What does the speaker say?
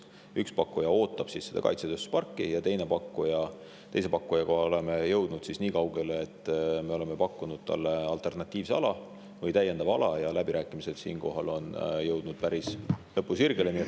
Üks pakkuja ootab seda kaitsetööstusparki ja teise pakkujaga oleme jõudnud nii kaugele, et me oleme pakkunud talle alternatiivse ala või täiendava ala ja need läbirääkimised on jõudnud päris lõpusirgele.